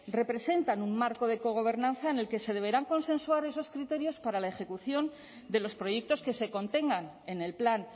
representan un marco de cogobernanza en el que se deberán consensuar esos criterios para la ejecución de los proyectos que se contengan en el plan